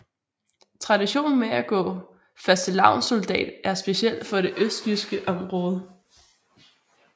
Traditionen med at gå fastelavnssoldat er speciel for det østjyske område